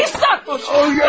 Sərsən!